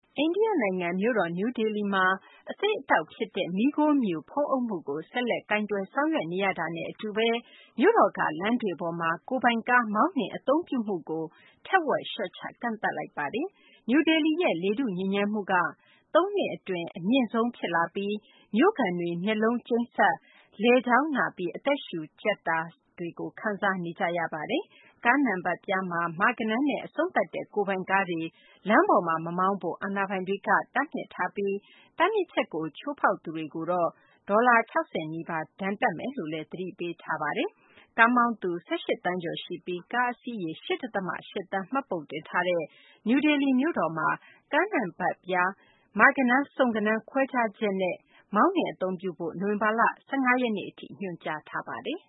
အိန္ဒိယ နိုင်ငံ မြို့တော် နယူးဒေလီမှာ အဆိပ်အတောက်ဖြစ်တဲ့ မီးခိုးမြူ ဖုံးအုပ်မှုကို ဆက်လက် ကိုင်တွယ် ဆောင်ရွက် နေရတာနဲ့ အတူဘဲ မြို့တော်က လမ်းတွေပေါ်မှာ ကိုယ်ပိုင်ကား မောင်းနှင် အသုံးပြုမှုကို ထက်ဝက် လျှော့ချ ကန့်သတ်လိုက်ပါတယ်။ နယူးဒေလီရဲ့ လေထုညစ်ညမ်းမှုက သုံးနှစ်အတွင်း အမြင့်ဆုံး ဖြစ်လာပြီး မြို့ခံတွေ မျက်လုံးကျိန်းစပ်၊ လည်ချောင်းနာပြီး အသက်ရှုကြပ် စတာတွေ ခံစားနေကြရပါတယ်။ ကားနံပတ်ပြားမှာ မ ဂဏန်းနဲ့ အဆုံးသတ်တဲ့ ကိုယ်ပိုင်ကားတွေ လမ်းတွေပေါ်မှာ မမောင်းကြဖို့ အာဏာပိုင်တွေက တားမြစ်ထားပြီး တားမြစ်ချက်ကို ချိုးဖောက်သူတွေကို ဒေါ်လာ ၆၀ နီးပါး ဒဏ်ငွေတပ်မယ်လို့ သတိပေးထားပါတယ်။ ကားမောင်းသူ ၁၈ သန်းကျော်ရှိပြီး ကားအစီးရေ ၈ ဒသမ ၈ သန်း မှတ်ပုံတင်ထားတဲ့ နယူးဒေလီ မြို့တော်မှာ ကားနံပတ်ပြားတွေမှာ မ ဂဏန်း၊ စုံ ဂဏန်း ခွဲခြားချက်နဲ့ နိုဝင်ဘာလ ၁၅ ရက်နေ့ထိ အလှည့်ကျ မောင်းနှင်ဖို့ ညွှန်ကြားထားပါတယ်